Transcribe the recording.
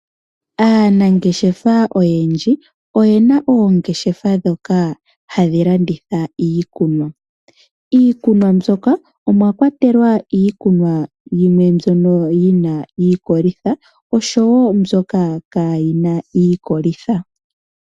Aanangeshefa oyendji iyena oongeshefa ndhoka hadhi landitha iikunwa. Iikunwa mbyoka omwakwatelwa iikunwa yimwe mbyoka yina iikolitha oshowo mbyoka kayina iikolitha.